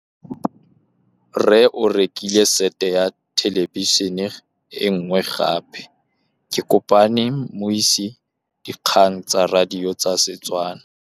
Rre o rekile sete ya thêlêbišênê e nngwe gape. Ke kopane mmuisi w dikgang tsa radio tsa Setswana.